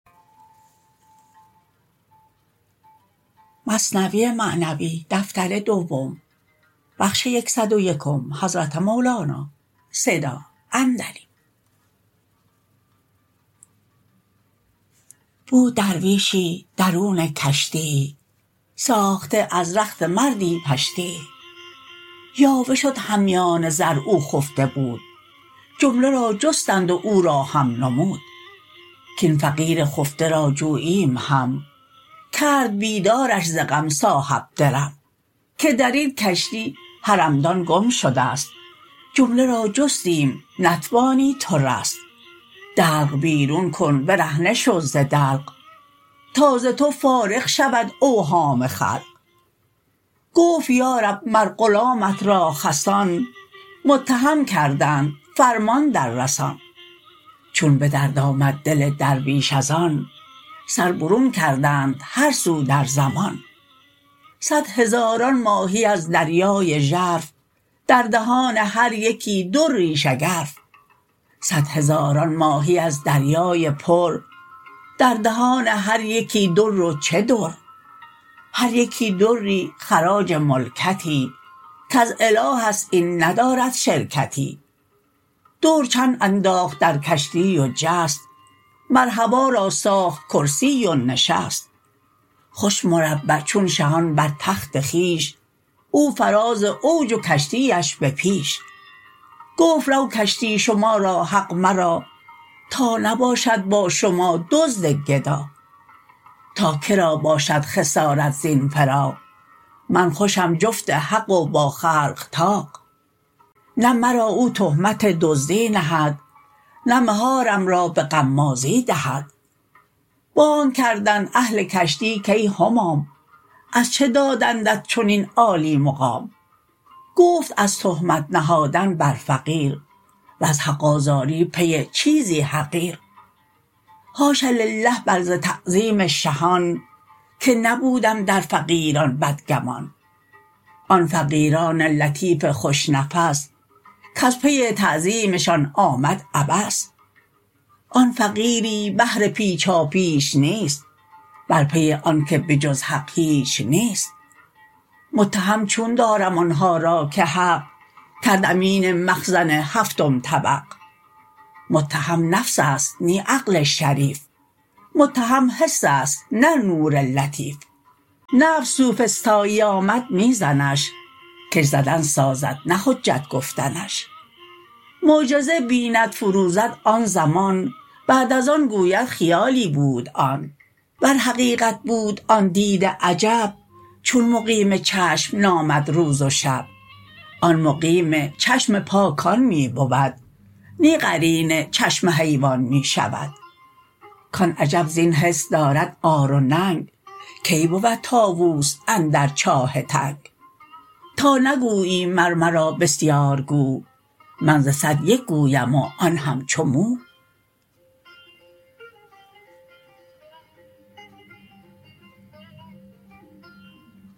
بود درویشی درون کشتیی ساخته از رخت مردی پشتیی یاوه شد همیان زر او خفته بود جمله را جستند و او را هم نمود کاین فقیر خفته را جوییم هم کرد بیدارش ز غم صاحب درم که درین کشتی حرمدان گم شده ست جمله را جستیم نتوانی تو رست دلق بیرون کن برهنه شو ز دلق تا ز تو فارغ شود اوهام خلق گفت یا رب مر غلامت را خسان متهم کردند فرمان در رسان چون به درد آمد دل درویش از آن سر برون کردند هر سو در زمان صد هزاران ماهی از دریای ژرف در دهان هر یکی دری شگرف صد هزاران ماهی از دریای پر در دهان هر یکی در و چه در هر یکی دری خراج ملکتی کز الهست این ندارد شرکتی در چند انداخت در کشتی و جست مر هوا را ساخت کرسی و نشست خوش مربع چون شهان بر تخت خویش او فراز اوج و کشتی اش به پیش گفت رو کشتی شما را حق مرا تا نباشد با شما دزد گدا تا که را باشد خسارت زین فراق من خوشم جفت حق و با خلق طاق نه مرا او تهمت دزدی نهد نه مهارم را به غمازی دهد بانگ کردند اهل کشتی کای همام از چه دادندت چنین عالی مقام گفت از تهمت نهادن بر فقیر وز حق آزاری پی چیزی حقیر حاش لله بل ز تعظیم شهان که نبودم در فقیران بدگمان آن فقیران لطیف خوش نفس کز پی تعظیمشان آمد عبس آن فقیری بهر پیچاپیچ نیست بل پی آن که به جز حق هیچ نیست متهم چون دارم آنها را که حق کرد امین مخزن هفتم طبق متهم نفس است نی عقل شریف متهم حس است نه نور لطیف نفس سوفسطایی آمد می زنش کش زدن سازد نه حجت گفتنش معجزه بیند فروزد آن زمان بعد از آن گوید خیالی بود آن ور حقیقت بود آن دید عجب چون مقیم چشم نامد روز و شب آن مقیم چشم پاکان می بود نی قرین چشم حیوان می شود کان عجب زین حس دارد عار و ننگ کی بود طاووس اندر چاه تنگ تا نگویی مر مرا بسیارگو من ز صد یک گویم و آن همچو مو